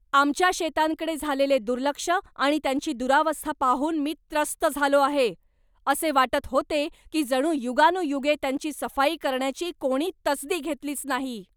आमच्या शेतांकडे झालेले दुर्लक्ष आणि त्यांची दुरावस्था पाहून मी त्रस्त झालो आहे. असे वाटत होते की जणू युगानुयुगे त्यांची सफाई करण्याची कोणी तसदी घेतलीच नाही.